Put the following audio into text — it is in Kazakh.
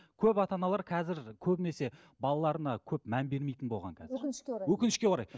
көп ата аналар қазір көбінесе балаларына көп мән бермейтін болған қазір өкінішке орай өкінішке орай